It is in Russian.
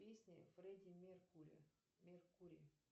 песни фрэдди меркури меркури